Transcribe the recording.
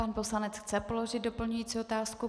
Pan poslanec chce položit doplňující otázku?